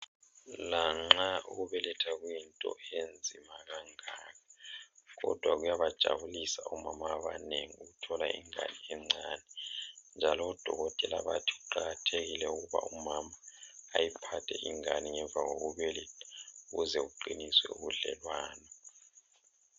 Lanxa ukubeletha kuyinto enzima kangaka ,kodwa kuyabajabulisa omama abanengi ukuthola ingane encane njalo oDokotela bathi kuqakathekile ukuba umama ayiphathe ingane ngemva kokubeletha ukuze kuqiniswe ubudlelwano.